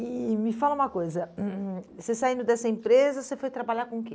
E me fala uma coisa, você saindo dessa empresa, você foi trabalhar com o quê?